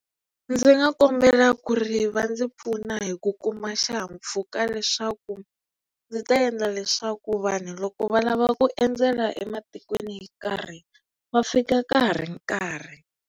Ndzi nga kombela ku ri va ndzi pfuna hi ku kuma xihahampfhuka leswaku ndzi ta endla leswaku vanhu loko va lava ku endzela ematikweni yo karhi va fika ka ha ri nkarhi.